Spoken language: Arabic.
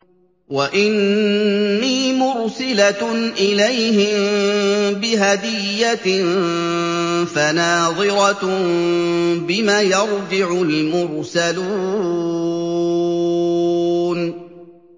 وَإِنِّي مُرْسِلَةٌ إِلَيْهِم بِهَدِيَّةٍ فَنَاظِرَةٌ بِمَ يَرْجِعُ الْمُرْسَلُونَ